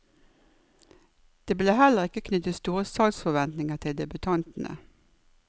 Det blir heller ikke knyttet store salgsforventninger til debutantene.